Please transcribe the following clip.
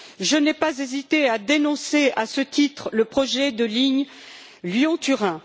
Je n'ai pas hésité à dénoncer, à ce titre, le projet de ligne Lyon Turin.